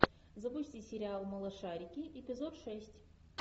запусти сериал малышарики эпизод шесть